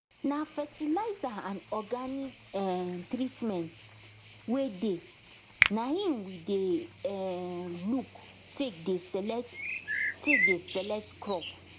na fertilizer and organic um treatment wey dey naim we dey um look take dey select take dey select crop